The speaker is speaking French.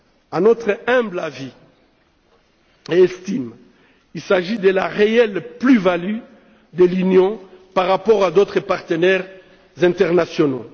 À notre humble avis et à notre estime, il s'agit de la réelle plus value de l'Union par rapport à d'autres partenaires internationaux.